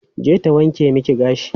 Je ta wanke miki gashi.